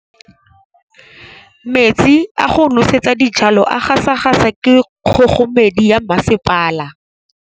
Metsi a go nosetsa dijalo a gasa gasa ke kgogomedi ya masepala.